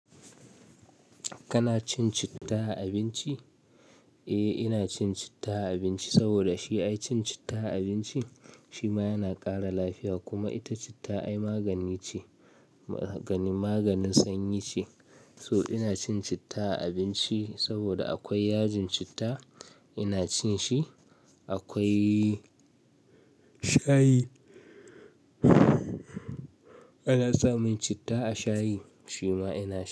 Kana cin citta a abinci? Eh, ina cin citta a abinci saboda shi ai cin citta a abinci shi ma yana ƙara lafiya kuma ita citta ai magani ce, maganin sanyi ce. So ina cin citta a abinci saboda akwai yajin citta ina cin shi, akwai shayi. Ana samun citta a shayi shi ma ina sha.